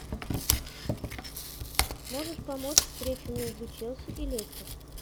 можешь помочь встречу между челси и лестер